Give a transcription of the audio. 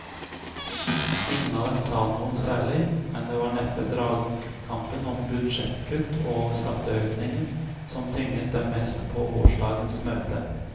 Ingen av dem sa noe særlig, men det var neppe dragkampen om budsjettkutt og skatteøkninger som tynget dem mest på gårsdagens møte.